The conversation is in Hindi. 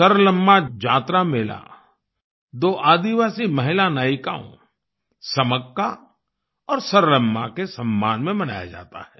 सरलम्मा जातरा मेला दो आदिवासी महिला नायिकाओं समक्का और सरलम्मा के सम्मान में मनाया जाता है